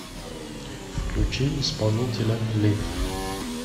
включи исполнителя лив